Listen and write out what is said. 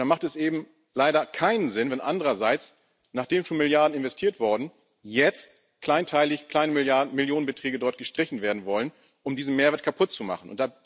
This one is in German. Und dann macht es eben leider keinen Sinn, wenn andererseits, nachdem schon Milliarden investiert wurden, jetzt kleinteilig kleine Millionenbeträge dort gestrichen werden sollen, um diesen Mehrwert kaputt zu machen.